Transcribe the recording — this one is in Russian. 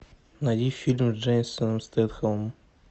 найди фильм с джейсоном стетхемом